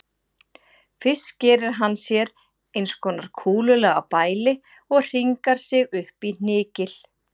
Fyrst gerir hann sér eins konar kúlulaga bæli og hringar sig upp í hnykil.